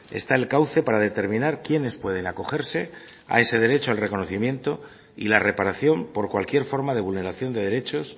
está el cauce para determinar quiénes pueden acogerse a ese derecho al reconocimiento y la reparación por cualquier forma de vulneración de derechos